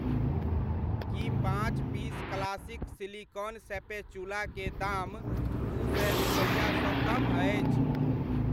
की पाँच piece classic silicone spatula के दाम दू सए रुपैआ सँ कम अछि ?